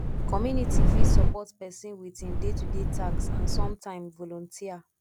community fit support person with im day to day task and sometime volunteer